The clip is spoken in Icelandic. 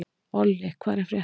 Olli, hvað er að frétta?